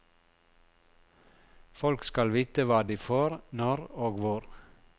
Folk skal vite hva de får når og hvor.